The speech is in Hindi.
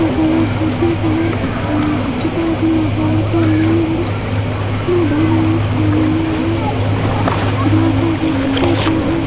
या कलर हैप्पी कलर और उसके बाद यहाँ पर है सामने आंगन मैदान है एंड ये है जहाँ का उदय की सोच है।